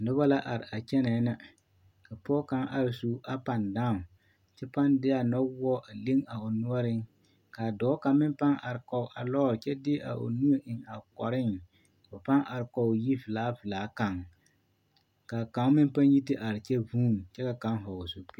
Nobɔ la are a kyɛnɛɛ nɛ ka pɔge kaŋ are su a paŋdaaŋ kyɛ paŋ de a nɔwoɔ a leŋ a o noɔreŋ kaa dɔɔ kaŋ meŋ paŋ are kɔge a lɔɔre kyɛ de a o nu a eŋ a kɔreŋ a paŋ are kɔge yi velaa velaa kaŋ kaa kaŋ meŋ paŋ yi te are kyɛ vuun kyɛ ka kaŋ hɔɔl zupil.